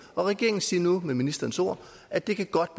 og regeringen siger nu med ministerens ord at det godt